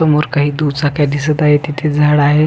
समोर काही दुचक्या दिसत आहेत तिथे झाड आहे.